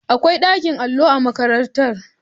Akwai ɓakin allo a makarantara.